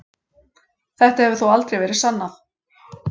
Þetta hefur þó aldrei verið sannað.